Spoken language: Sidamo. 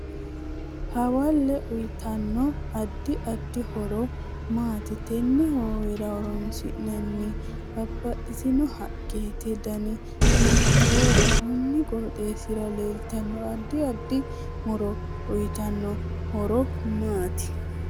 Hoowe uyiitanno addi addi horo maati tenne hoowera horoonsinoni babbaxitinno haqqeti dani hiitoho konni qoxeesira leeltanno addi addi muro uyiitanno horo maati